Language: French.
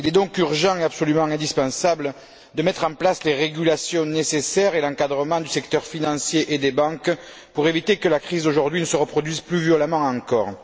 Il est donc urgent et absolument indispensable de mettre en place les régulations nécessaires et l'encadrement du secteur financier et des banques, pour éviter que la crise d'aujourd'hui ne se reproduise plus violemment encore.